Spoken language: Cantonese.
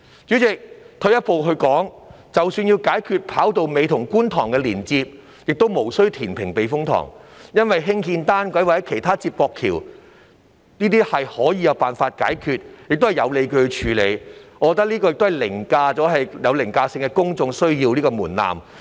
主席，退一步說，即使要解決"跑道尾"與觀塘的連接問題，亦無需填平避風塘，因為只要興建單軌或其他連接橋便有辦法解決，而且有理有據，我覺得這個方案可通過有凌駕性的公眾需要的門檻。